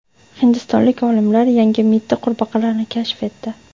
Hindistonlik olimlar yangi mitti qurbaqalarni kashf etdi.